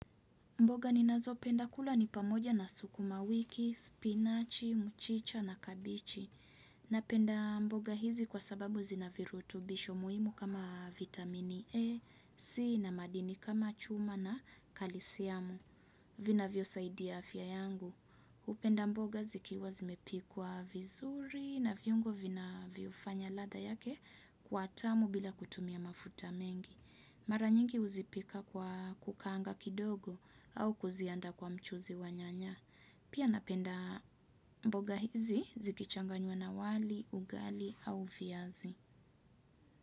Mboga ninazo penda kula ni pamoja na sukumawiki spinachi mchicha na kabichi. Napenda mboga hizi kwa sababu zina virutubisho muhimu kama vitamini A, C na madini kama chuma na kalisiamu. Vinavyo saidia afya yangu. Hupenda mboga zikiwa zimepikwa vizuri na viungo vinavyo fanya ladha yake kuwa tamu bila kutumia mafuta mengi. Mara nyingi huzipika kwa kukaanga kidogo au kuziandaa kwa mchuzi wa nyanya. Pia napenda mboga hizi zikichanganywa na wali, ugali au viazi.